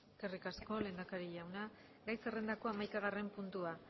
eskerrik asko lehendakari jauna gai zerrendako hamaikagarren puntua